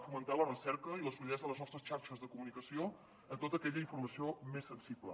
fomentar la recerca i la solidesa de les nostres xarxes de comunicació amb tota aquella informació més sensible